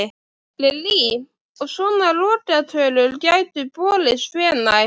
Lillý: Og svona lokatölur gætu borist hvenær?